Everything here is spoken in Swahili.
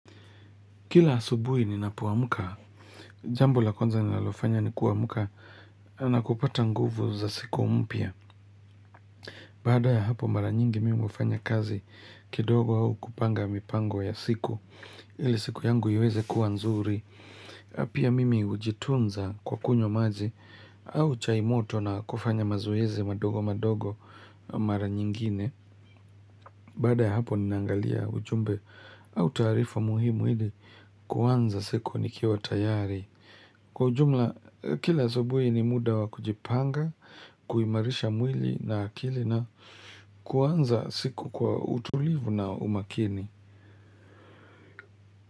Kila asubuhi ninapoamka, jambo la kwanza ninalofanya nikiamka na kupata nguvu za siku mpya. Baada ya hapo mara nyingi mimi hufanya kazi kidogo au kupanga mipango ya siku. Ili siku yangu iweze kuwa nzuri. Pia mimi hujitunza kwa kunywa maji au chai moto na kufanya mazoezi madogo madogo mara nyingine. Baada ya hapo ninangalia ujumbe au taarifa muhimu ili kuanza siku nikiwa tayari. Kwa ujumla kila asubuhi ni muda wa kujipanga kuimarisha mwili na akili na kuwanza siku kwa utulivu na umakini.